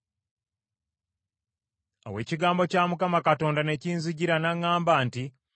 Awo ekigambo kya Mukama Katonda ne kinzijira n’aŋŋamba nti,